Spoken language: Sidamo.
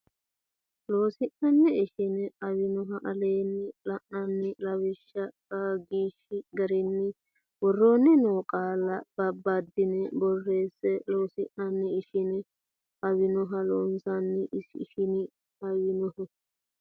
Loossinanni ishin aawinoho aleenni la ini lawishshi Qaagiishsha garinni woroonni noo qaalla babbaddine borreesse Loossinanni ishin aawinoho Loossinanni ishin aawinoho.